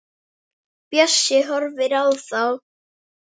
Bjössi horfir á þá.